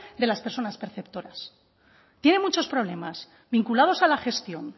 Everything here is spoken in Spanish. de las personas perceptores tiene muchos problemas vinculados a la gestión